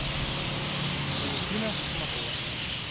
валентина шумакова